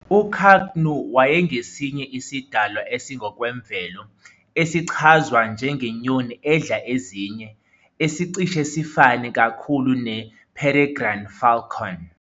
U-Kaknu wayengesinye isidalwa esingokwemvelo, esichazwa njengenyoni edla ezinye, esicishe sifane kakhulu ne-peregrine falcon.